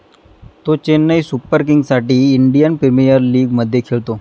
तो चेन्नई सुपर किंगसाठी Indian premier लिगमध्ये खेळतो.